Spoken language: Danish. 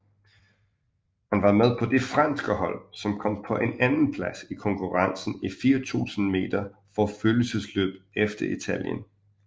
Han var med på det franske hold som kom på en andenplads i konkurrencen i 4000 meter forfølgelsesløb efter Italien